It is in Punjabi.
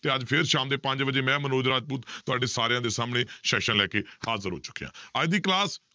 ਤੇ ਅੱਜ ਫਿਰ ਸ਼ਾਮ ਦੇ ਪੰਜ ਵਜੇ ਮੈਂ ਮਨੋਜ ਰਾਜਪੂਤ ਤੁਹਾਡੇ ਸਾਰਿਆਂ ਦੇ ਸਾਹਮਣੇ session ਲੈ ਕੇ ਹਾਜ਼ਰ ਹੋ ਚੁੱਕਿਆਂ ਅੱਜ ਦੀ class